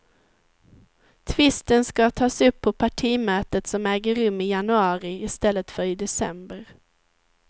Tvisten ska tas upp på partimötet som äger rum i januari i stället för i december.